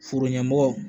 Foro ɲɛmɔgɔ